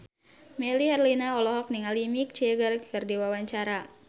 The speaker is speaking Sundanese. Melly Herlina olohok ningali Mick Jagger keur diwawancara